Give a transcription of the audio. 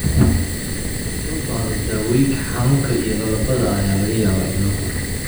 Haddii loo baahdo, daawooyinka xanuunka iyo lallabada ayaa laga yaabaa in loo qoro.